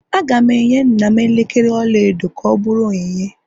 Aga m enye nna m elekere ọla edo ka ọ bụrụ onyinye